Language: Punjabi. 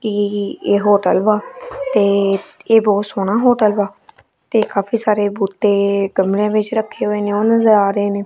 ਇਹ ਇਹ ਹੋਟਲ ਵਾ ਤੇ ਇਹ ਬਹੁਤ ਸੋਹਣਾ ਹੋਟਲ ਵਾ ਤੇ ਕਾਫੀ ਸਾਰੇ ਬੂਟੇ ਕਮਰੇ ਵਿੱਚ ਰੱਖੇ ਹੋਏ ਨੇ ਉਹ ਨਜ਼ਰ ਆ ਰਹੇ ਨੇ।